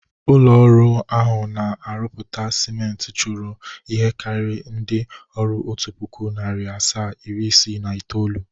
Ụlọ ọrụ ahụ a na-arụpụta siment chụrụ ihe karịrị ndị ọrụ otu pụkụ, nari asaa, iri isii na itoolu.